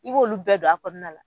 I b'olu bɛɛ don a kɔnɔna la.